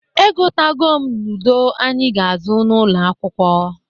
Egotago m ludo anyị ga-azụ n'ụnọ akwụkwọ.